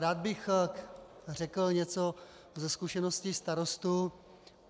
Rád bych řekl něco ze zkušeností starostů.